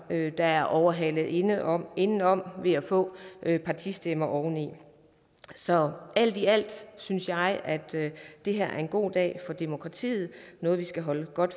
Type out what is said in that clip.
der er overhalet indenom indenom ved at få partistemmer oven i så alt i alt synes jeg at det her er en god dag for demokratiet og vi skal holde